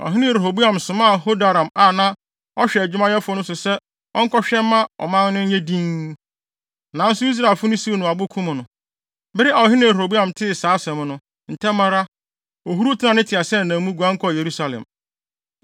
Ɔhene Rehoboam somaa Hadoram a na ɔhwɛ adwumayɛfo so no sɛ ɔnkɔhwɛ mma ɔman no nyɛ dinn, nanso Israelfo no siw no abo kum no. Bere a ɔhene Rehoboam tee saa asɛm no, ntɛm ara, ohuruw tenaa ne teaseɛnam mu, guan kɔɔ Yerusalem.